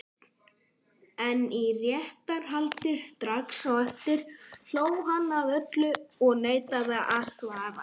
En í réttarhaldi strax á eftir hló hann að öllu og neitaði að svara.